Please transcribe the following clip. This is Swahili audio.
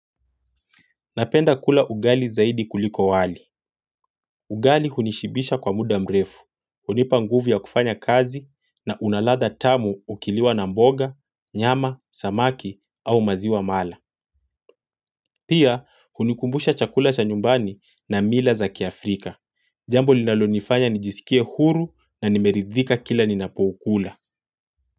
Napenda kula ugali zaidi kuliko wali. Ugali hunishibisha kwa muda mrefu, unipa nguvu ya kufanya kazi na unalatha tamu ukiliwa na mboga, nyama, samaki au maziwa mala. Pia, hunikumbusha chakula cha nyumbani na mila za kiafrika. Jambo linalonifanya nijisikie huru na nimeridhika kila ninapokula.